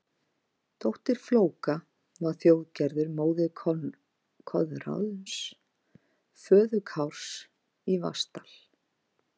Dóttir Flóka var Þjóðgerður, móðir Koðráns, föður Kárs í Vatnsdal.